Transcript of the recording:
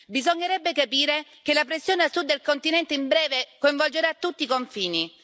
Bisognerebbe capire che la pressione a sud del continente in breve coinvolgerà tutti i confini.